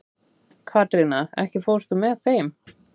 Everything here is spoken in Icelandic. Katrína, ekki fórstu með þeim?